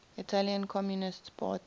italian communist party